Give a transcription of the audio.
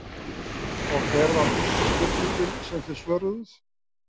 Og hver var fyrsta spurningin sem þið svöruðuð?